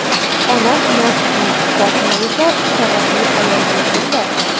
Onam nozikkina, Iqbol xola esa savatli ayol bo‘lgan-da.